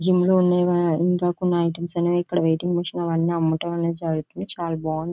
Gym లో ఉండేవి. ఇంకా కొన్ని ఐటమ్స్ అనేవి ఇక్కడ వెయిటింగ్ మెషిన్ అవి అమ్మటం అనేవి జరుగుతుంది.చాలా బాగుంది.